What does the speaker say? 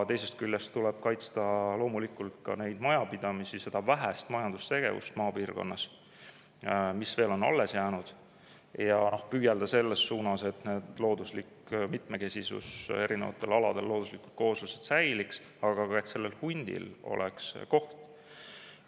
Teisest küljest tuleb kaitsta loomulikult neid majapidamisi, seda vähest majandustegevust maapiirkonnas, mis veel on alles jäänud, ja püüelda selles suunas, et looduslik mitmekesisus erinevatel aladel ja looduslikud kooslused säiliks, aga et ka hundil oleks koht.